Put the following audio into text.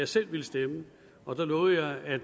selv ville stemme og der lovede jeg at